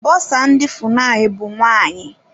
Bọsa ndị FUNAI bụ nwaanyị.